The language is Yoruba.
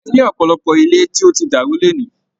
A ní ọ̀pọ̀lọpọ̀ ilé tó ti dàrú ní òní.